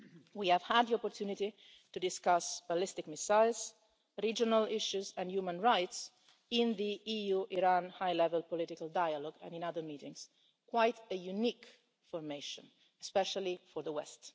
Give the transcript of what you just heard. We have had the opportunity to discuss ballistic missiles, regional issues and human rights in the EU-Iran high level political dialogue and in other meetings quite a unique formation, especially for the West.